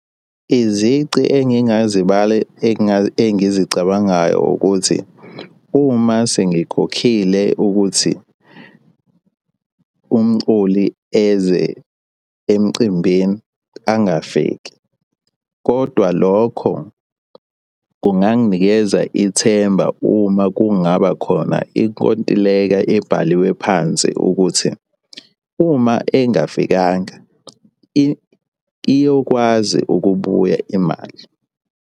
Izici engingazibala engizicabangayo ukuthi, uma sengikhokhile ukuthi umculi eze emcimbini angafiki, kodwa lokho kunganginikeza ithemba uma kungaba khona inkontileka ebhaliwe phansi ukuthi uma engafikanga iyokwazi ukubuya imali.